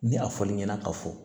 Ni a fɔl'i ɲɛna ka fɔ